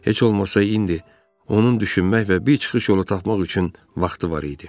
Heç olmasa indi onun düşünmək və bir çıxış yolu tapmaq üçün vaxtı var idi.